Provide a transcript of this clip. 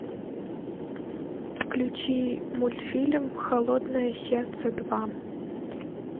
включи мультфильм холодное сердце два